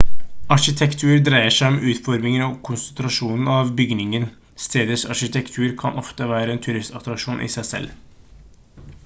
arkitektur dreier seg om utformingen og konstruksjonen av bygninger stedets arkitektur kan ofte være en turistattraksjon i seg selv